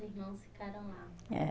Irmãos ficaram lá. É.